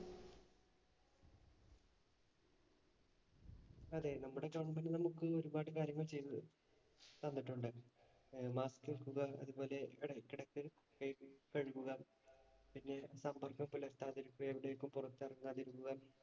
അതേ നമ്മുടെ സമൂഹം നമുക്ക് ഒരുപാട് കാര്യങ്ങള്‍ ചെയ്തു തന്നിട്ടുണ്ട്. Mask വയ്ക്കുക. അതുപോലെ ഇടയ്ക്കിടയ്ക്ക് കൈ കഴുകുക. പിന്നെ സമ്പര്‍ക്കത്തില്‍ എത്താതിരിക്കുക. എവിടെയെങ്ങും പുറത്തിറങ്ങാതിരിക്കുക.